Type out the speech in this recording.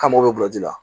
K'an mago bɛ gulɔ ji la